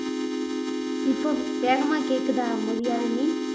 இப்போ வேகமா கேக்குதா மொழியாழினி